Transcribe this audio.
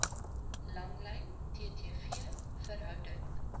langlyn ttv verhouding